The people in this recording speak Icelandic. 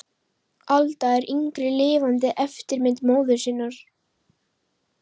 Alda yngri er lifandi eftirmynd móður sinnar.